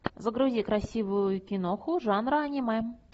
загрузи красивую киноху жанра аниме